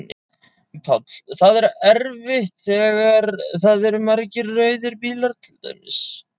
Páll: Það er erfitt þegar að það eru margir rauðir bílar til dæmis?